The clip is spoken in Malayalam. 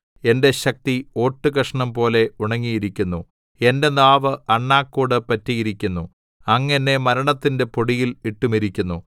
എന്റെ ശക്തി ഓട്ടുകഷണംപോലെ ഉണങ്ങിയിരിക്കുന്നു എന്റെ നാവ് അണ്ണാക്കോട് പറ്റിയിരിക്കുന്നു അങ്ങ് എന്നെ മരണത്തിന്റെ പൊടിയിൽ ഇട്ടുമിരിക്കുന്നു